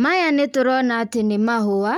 Maya nĩtũrona atĩ nĩ mahũa,